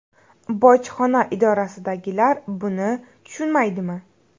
Bojxona idorasidagilar buni tushunmaydimi?